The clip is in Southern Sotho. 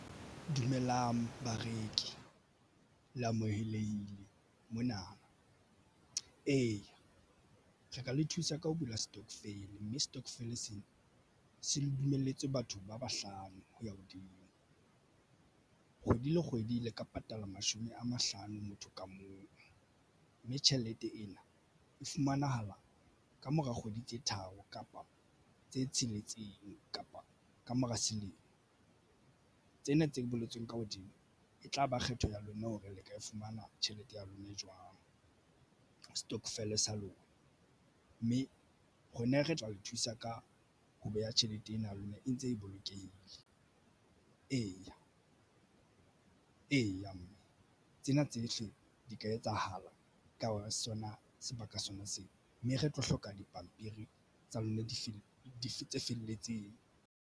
Dumelang bareki le amohelehile mona eya re ka le thusa ka ho bula stokvel, mme stokvel sena se le dumelletswe batho ba bahlano hoya hodimo kgwedi le kgwedi le ka patala mashome a mahlano motho ka mong mme tjhelete ena e fumanahala kamora kgwedi tse tharo kapa tse tsheletseng kapa kamora selemo. Tsena tse boletsweng ka hodimo e tlaba kgetho ya lona hore le ka e fumana tjhelete ya lona jwang. Stockvel sa lona mme rona re tla o thusa ka ho beha tjhelete ena ya lona e ntse e bolokehile. Eya, mme tsena tsohle di ka etsahala ka hara sona sebaka sona seo mme re tlo hloka dipampiri tsa lona di feela di felletseng.